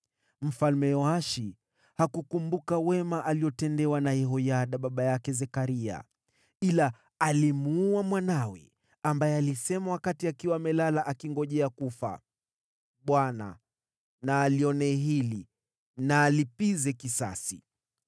Mfalme Yoashi hakukumbuka wema aliotendewa na Yehoyada baba yake Zekaria ila alimuua mwanawe, ambaye alisema wakati akiwa amelala akingojea kufa, “ Bwana na alione hili na alipize kisasi.”